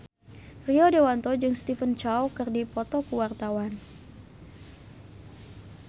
Rio Dewanto jeung Stephen Chow keur dipoto ku wartawan